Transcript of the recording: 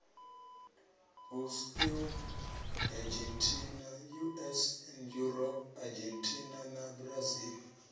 us eu argentina na brazil